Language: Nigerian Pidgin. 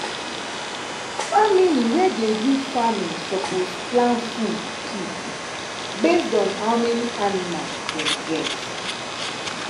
family wey dey do farming suppose plan food keep based on how many anima dem get.